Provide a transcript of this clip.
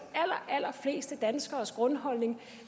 allerfleste danskernes grundholdning